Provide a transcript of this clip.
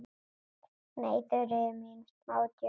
Nei, Þuríður mín, smá djók.